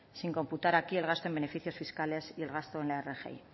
sin computar aquí el gasto en beneficios fiscales y el gasto en la rgi